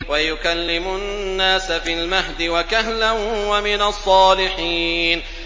وَيُكَلِّمُ النَّاسَ فِي الْمَهْدِ وَكَهْلًا وَمِنَ الصَّالِحِينَ